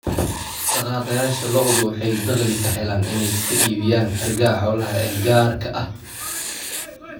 Dhaqaaqayaasha lo'du waxay dakhli ka helaan inay ka iibiyaan hargaha xoolaha ee gaarka ah.